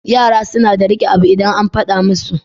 Yara nada rike abu idan an faɗa musu